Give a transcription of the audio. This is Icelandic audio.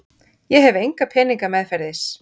Ég hef enga peninga meðferðis.